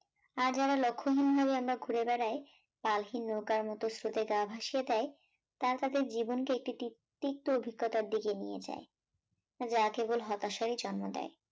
আর যারা লক্ষ্যহীণ হয়ে আমরা ঘুরে বেড়ায়, পালহীন নৌকার মোত স্রোতে গা ভাসিয়ে দেয়, তারা তাদের জীবন কে একটি তিক তিক্ত অভিজ্ঞতার দিকে নিয়ে যায়, যা কেবল হতাশার জন্ম দেয়